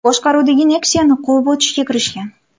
boshqaruvidagi Nexia’ni quvib o‘tishga kirishgan.